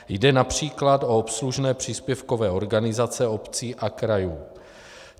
Jde například o obslužné příspěvkové organizace obcí a krajů.